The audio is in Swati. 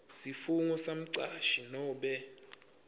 sifungo semcashi nobe